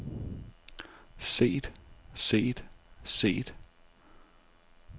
set set set